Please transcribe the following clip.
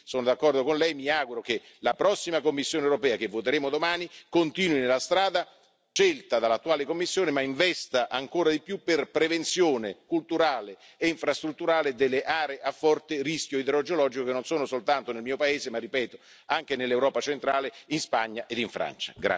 Sono pertanto d'accordo con lei e mi auguro che la prossima Commissione europea, che voteremo domani, continui nella strada scelta dall'attuale Commissione ma investa ancora di più per prevenzione culturale e infrastrutturale delle aree a forte rischio idrogeologico, che non sono soltanto nel mio paese ma anche nell'Europa centrale, in Spagna e in Francia.